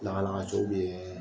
Lagalagatɔw be yɛɛ